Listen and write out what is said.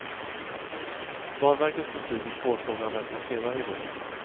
Banverkets beslut i spårfrågan väntas senare i vår.